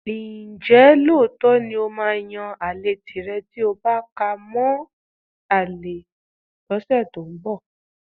Ǹjẹ́ lóòótọ́ ni ó máa yan àlè tìrẹ tí o bá ká ale mọ́ ọn lọ́sẹ̀ tó ń bọ̀?